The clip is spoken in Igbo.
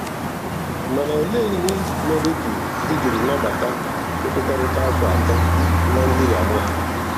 Mana olee ihe mere i jiri nabata nkwekọrịta afọ atọ na ndị Yamaha?